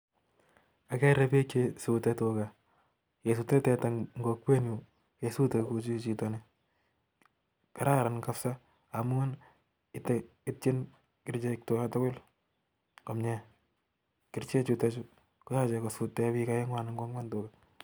Ageree pik chesute tugaa kesute teta Eng kokwek nyuun kesute kouchichito nii kesute teta kounitani koitchin kericheek Tuga komnyee